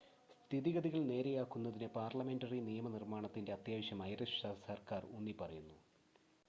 സ്ഥിതിഗതികൾ നേരെയാക്കുന്നതിന് പാർലമെൻ്ററി നിയമ നിർമ്മാണത്തിൻ്റെ അത്യാവശ്യം ഐറിഷ് സർക്കാർ ഊന്നി പറയുന്നു